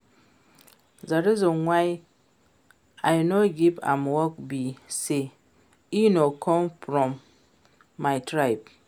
The reason why I no give am work be say e no come from my tribe